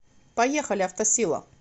поехали автосила